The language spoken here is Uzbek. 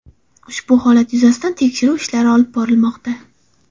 Ushbu holat yuzasidan tekshiruv ishlari olib borilmoqda.